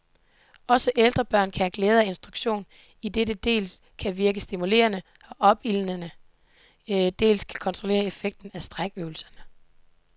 Også ældre børn kan have glæde af instruktion, idet det dels kan virke stimulerende og opildnende, dels kan kontrollere effekten af strækøvelserne.